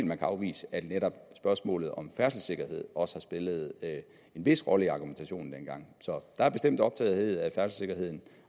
man kan afvise at netop spørgsmålet om færdselssikkerhed også har spillet en vis rolle i argumentationen dengang så der er bestemt optagethed af færdselssikkerheden